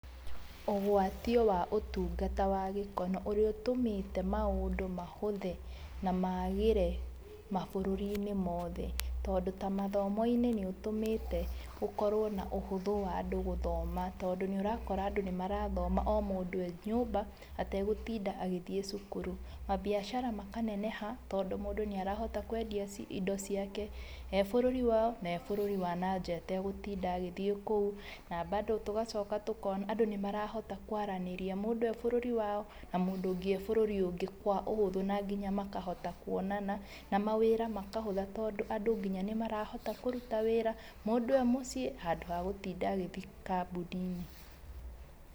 Ũgwatio wa ũtungata wa gĩkono, ũrĩa ũtũmĩte maũndũ mahũthe na magĩre mabũrũri-inĩ mothe, tondũ tagĩthomo-inĩ nĩ ũtũmĩte gũkorwo na ũhũthũ wa andũ gũthoma tondũ nĩ ũrakora andũ nĩ arathoma o mũndũ arĩ nyũmba, ategũtinda agĩthiĩ cukuru. Mabiacara makaneneha tondũ mũndũ nĩ arahota kwendia indo ciake ebũrũri wao, na ebũrũri wa nanja, ndegũtinda agĩthiĩ kũu.n Tũgacoka tũkona atĩ, andũ nĩmarahota kwaranĩria mũndũ ebũrũri wao na mũndũ ũngĩ ebũrũri ũngĩ na ũhũthũ, na nginya makahota kwonana, na mawĩra makahũtha tondũ andũ nĩmarahota kũruta wĩra, mũndũ emũciĩ, handũ wa gũtinda agĩthiĩ kambuni-inĩ.